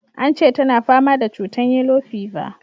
Ance tana fama da cutan yellow fever.